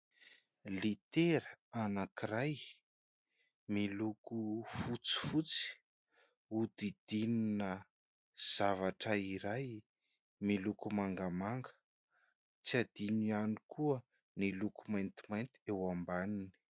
Litera anankiray miloko fotsifotsy hodidinina zavatra iray miloko mangamanga, tsy adino ihany koa ny eloko maintimainty eo ambaniny.